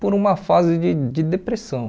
por uma fase de de depressão.